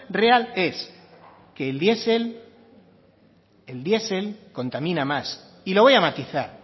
real es que el diesel contamina más y lo voy a matizar